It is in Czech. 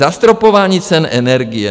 Zastropování cen energie.